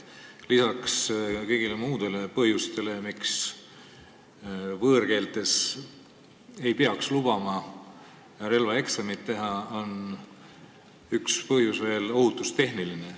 Lisaks kõigile muudele põhjustele, miks ei peaks lubama relvaeksamit võõrkeeles teha, on üks põhjus veel ohutustehniline.